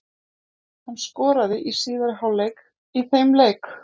Hann skoraði í síðari hálfleik í þeim leik.